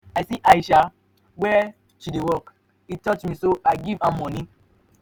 i see aisha where she dey work. e touch me so i give am money.